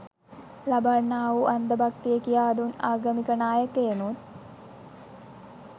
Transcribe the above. ලබන්නාවූ අන්ද භක්තිය කියාදුන් ආගමික නායකයනුත්